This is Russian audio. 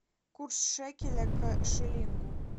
курс шекеля к шиллингу